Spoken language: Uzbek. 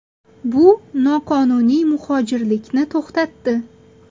Bu noqonuniy muhojirlikni to‘xtatdi.